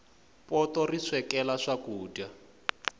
poto ri swekela swakudya